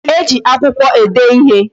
E ji akwụkwọ ede ịhe